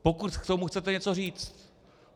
Pokud k tomu chcete něco říct.